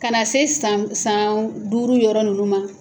Ka na se san saan duuru yɔrɔ ninnu ma